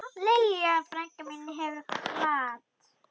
Lilja frænka mín hefur kvatt.